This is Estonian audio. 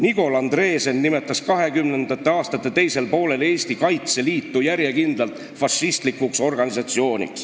Nigol Andresen nimetas 1920. aastate teisel poolel Eesti Kaitseliitu järjekindlalt fašistlikuks organisatsiooniks.